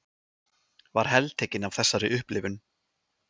Var heltekin af þessari upplifun.